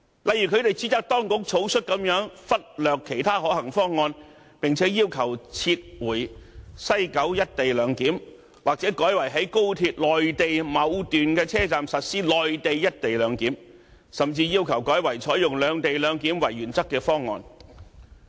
例如，他們指責當局草率地忽略其他可行方案，並且要求撤回西九"一地兩檢"或改為在高鐵內地某段車站實施內地"一地兩檢"，甚至要求改為採用"兩地兩檢"為原則的方案。